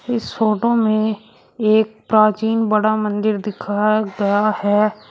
इस फोटो में एक प्राचीन बड़ा मंदिर दिखाया गया है।